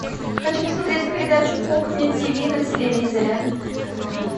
хочу посмотреть передачу кухня тв на телевизоре